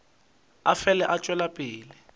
a fele a tšwela pele